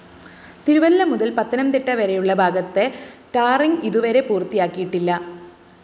തിരുവല്ല മുതല്‍ പത്തനംതിട്ട വരെയുള്ള ഭാഗത്തെ ടാറിങ്‌ ഇതുവരെ പൂര്‍ത്തിയാക്കിയിട്ടില്ല്